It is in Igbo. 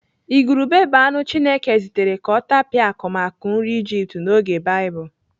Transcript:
Ìgùrùbè bụ anụ Chineke zitere ka ọ tapịa akụmakụ nri Ijipt n'oge Baịbụl.